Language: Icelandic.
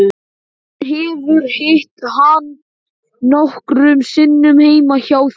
Hún hefur hitt hann nokkrum sinnum heima hjá þeim.